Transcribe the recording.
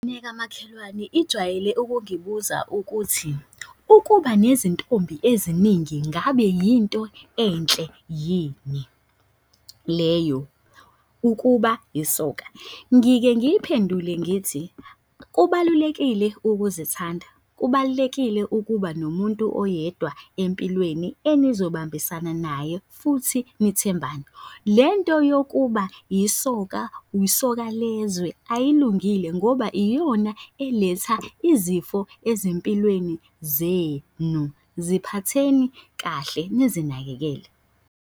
Ingane yaka makhelwane ijwayele ukungibuza ukuthi, ukuba nezintombi eziningi ngabe yinto enhle yini leyo? Ukuba isoka? Ngike ngiyiphendule ngithi, kubalulekile ukuzithanda, kubalulekile ukuba nomuntu oyedwa empilweni enizobambisana naye futhi nithembane. Le nto yokuba yisoka, yisoka lezwe ayilungile ngoba iyona eletha izifo ezimpilweni zenu, ziphatheni kahle, nizinakekele.